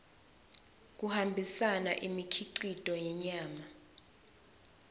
kuhambisa imikhicito yenyama